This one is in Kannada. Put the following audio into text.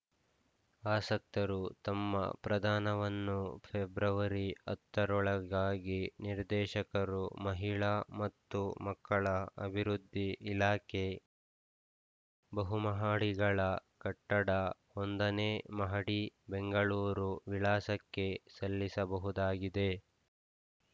ಆಸಕ್ತರು ತಮ್ಮ ಪ್ರದಾನವನ್ನು ಫೆಬ್ರವರಿ ಹತ್ತರೊಳಗಾಗಿ ನಿರ್ದೇಶಕರು ಮಹಿಳಾ ಮತ್ತು ಮಕ್ಕಳ ಅಭಿವೃದ್ಧಿ ಇಲಾಖೆ ಬಹುಮಹಡಿಗಳ ಕಟ್ಟಡ ಒಂದನೇ ಮಹಡಿ ಬೆಂಗಳೂರು ವಿಳಾಸಕ್ಕೆ ಸಲ್ಲಿಸಬಹುದಾಗಿದೆ